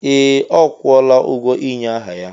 Ee! Ọ kwụọla ụgwọ ịnye aha ya.